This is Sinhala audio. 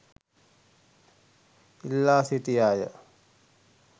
ඉල්ලා සිටියාය.